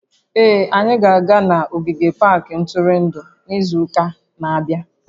Ee, anyị ga-aga n'ogige pak ntụrụndụ n'izu ụka na-abịa